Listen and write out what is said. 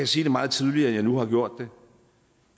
sige det meget tydeligere end jeg nu har gjort det